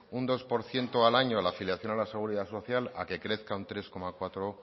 un dos por ciento al año a la afiliación de la seguridad social a que crezca un tres coma cuatro